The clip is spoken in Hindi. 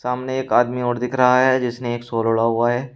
सामने एक आदमी और दिख रहा है जिसने एक शॉल ओढ़ा हुआ है।